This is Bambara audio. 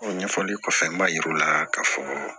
O ɲɛfɔli kɔfɛ n b'a yir'u la k'a fɔ